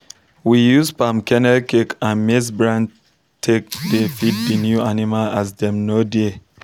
we use palm kernel cake and and maize bran take dey feed the new animl as dem nor dare